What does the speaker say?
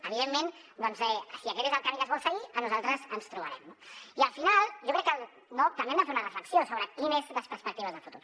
evidentment doncs si aquest és el camí que es vol seguir a nosaltres ens hi trobaran no i al final jo crec que també hem de fer una reflexió sobre quines són les perspectives de futur